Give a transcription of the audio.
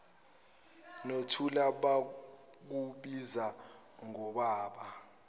nothula bakubiza ngobaba